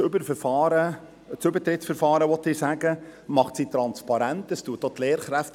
Sie macht das Übertrittsverfahren transparent und entlastet auch die Lehrkräfte.